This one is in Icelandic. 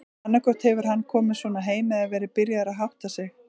Annaðhvort hefur hann komið svona heim eða verið byrjaður að hátta sig.